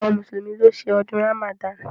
Awọn mùsùlùmí ló ṣe ọdún Ramadan.